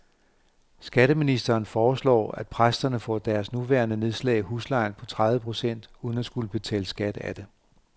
Skatteministeren foreslår, at præsterne får deres nuværende nedslag i huslejen på tredive procent uden at skulle betale skat af det.